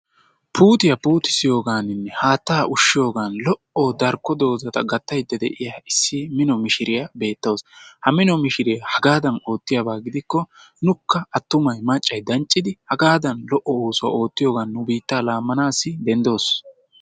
Puutiya puutissigiyonaninne haatta ushshiyoogan lo''o darkko puutiya gattaydda de'iya issi mino mishiriyaa beettawus. Ha mino mishiriya hagadan oottiyaaba gidikko nuukka attumay maccay denccidi hagadan lo''o oosuwaa oottiyoogan nu biittaa laammanas denddoos.